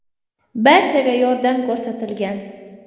Barchaga yordam ko‘rsatilgan.